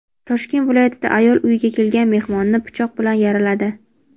Toshkent viloyatida ayol uyiga kelgan mehmonni pichoq bilan yaraladi.